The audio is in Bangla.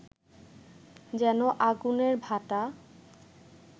যেন আগুনের ভাঁটা